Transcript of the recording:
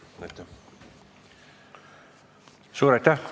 Suur aitäh!